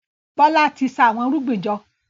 Bola tí ṣa Àwọn irúgbìn jọ.